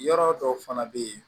Yɔrɔ dɔw fana bɛ yen